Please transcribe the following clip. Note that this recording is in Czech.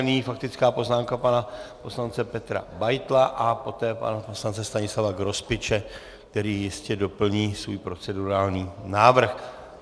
Nyní faktická poznámka pana poslance Petra Beitla a poté pana poslance Stanislava Grospiče, který jistě doplní svůj procedurální návrh.